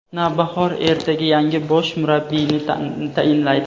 "Navbahor" ertaga yangi bosh murabbiyni tayinlaydi.